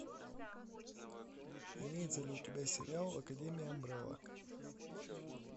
имеется ли у тебя сериал академия амбрелла